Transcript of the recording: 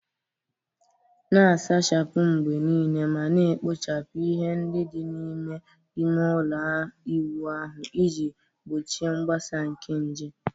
Na-asachapụ mgbe niile ma na-ekpochapụ ihe ndị dị n'ime ime ụlọ ịwụ ahụ iji gbochie mgbasa nke nje.